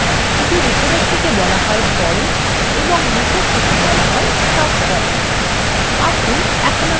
উপরেরটিকে বলা হয় form এবং নিচেরটিকে বলা হয় subform